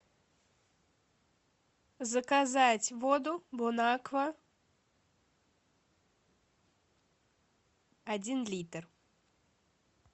заказать воду бонаква один литр